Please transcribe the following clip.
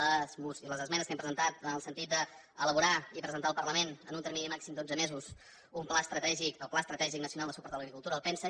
les esmenes que hem presentat van en el sentit d’elaborar i presentar al parlament en un termini màxim d’onze mesos un pla estratègic el pla estratègic nacional de suport a l’agricultura el pensa